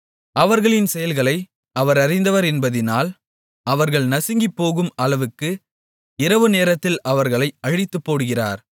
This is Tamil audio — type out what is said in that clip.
அவர்களின் செயல்களை அவர் அறிந்தவர் என்பதினால் அவர்கள் நசுங்கிப்போகும் அளவுக்கு இரவுநேரத்தில் அவர்களை அழித்துப்போடுகிறார்